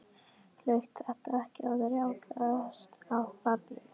Hlaut þetta ekki að rjátlast af barninu?